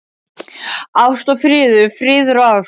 Ást og friður, friður og ást.